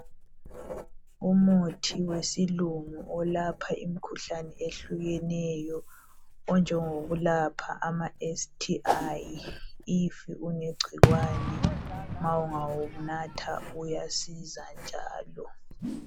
Umuthi wesilungu olapha imkhuhlane ehlukeneyo onjengokulapha ama STIs if unegcikwane ma ungawunatha uyasiza njalo